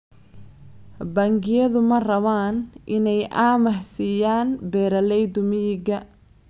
Bangiyadu ma rabaan inay amaah siiyaan beeralayda miyiga.